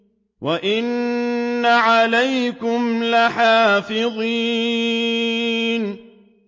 وَإِنَّ عَلَيْكُمْ لَحَافِظِينَ